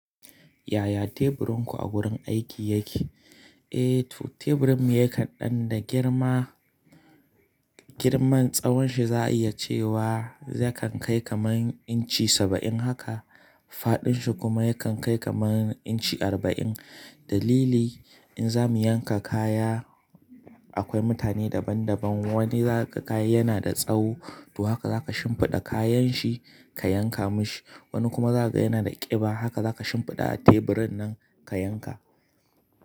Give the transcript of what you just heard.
Yaya teburin ku a wurin aiki yake? Eh to teburin mu ya kan ɗan da girma. Girman tsahon shi za a iya cewa yakan kai kamar inci saba'in haka. Faɗin shi kuma yakan kai kamar inci arba'in. Dalili in za mu yanka kaya akwai mutane daban daban. Wani za ka ga yana da tsawo to haka za ka shimfiɗa kayan shi ka yanka mishi. Wani kuma za ka ga yana da ƙiba haka za ka shimfiɗa a teburin nan ka yanka.